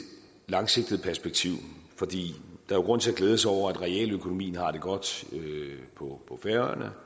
langsigtet perspektiv der er grund til at glæde sig over at realøkonomien har det godt på færøerne